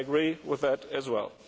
I agree with that as well.